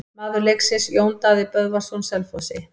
Maður leiksins: Jón Daði Böðvarsson Selfossi.